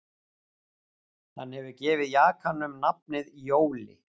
Hann hefur gefið jakanum nafnið Jóli